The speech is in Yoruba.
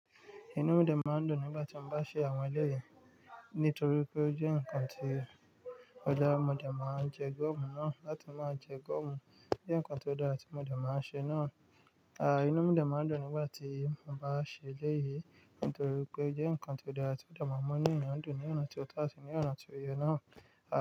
Inú mi de máa ń dùn nígbà tí mo bá ṣe àwọn ẹlẹ́yìí, nítorí pé ó jẹ́ ǹkan tió dára, mo dà máa ń jẹ gọ́mù na, láti máa jẹ gọ́mù. Jẹ́ ǹkan tó dára tí mo de máa ń ṣe náà. A, inú mi de máa ń dùn nígbà tí mo bá ṣe eléyìí, nítorí pé ó jẹ́ ǹkan tó dára tí o de máa munu eyan dùn ní ọ̀nà tió tọ́ àti ní ọ̀nà tió yẹ náà. A.